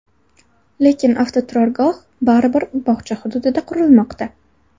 Lekin avtoturargoh baribir bog‘cha hududida qurilmoqda.